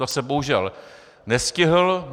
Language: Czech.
To jsem bohužel nestihl.